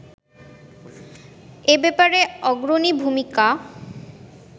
এ ব্যাপারে অগ্রণী ভূমিকা